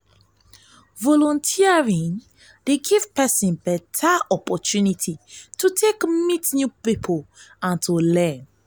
volunteering dey giv pesin beta opportunity to take meet new pipo and learn.